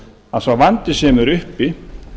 að sá vandi sem er uppi